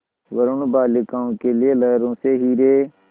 वरूण बालिकाओं के लिए लहरों से हीरे